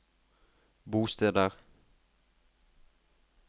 bosteder